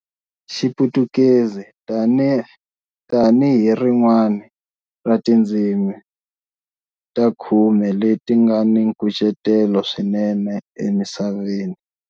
Xiputukezi tanihi rin'wana ra tindzimi ta khume leti nga ni nkucetelo swinene emisaveni.